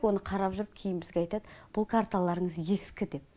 оны қарап жүріп кейін бізге айтад бұл карталарыңыз ескі деп